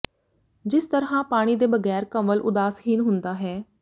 ਜਿਸ ਤਰ੍ਹਾਂ ਪਾਣੀ ਦੇ ਬਗੈਰ ਕੰਵਲ ਉਦਾਸਹੀਨ ਹੁੰਦਾ ਹੈ